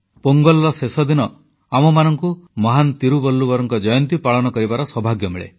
ପୋଙ୍ଗଲର ଶେଷଦିନ ଆମମାନଙ୍କୁ ମହାନ୍ ତିରୁବଲ୍ଲୁବରଙ୍କ ଜୟନ୍ତୀ ପାଳନ କରିବାର ସୌଭାଗ୍ୟ ମିଳେ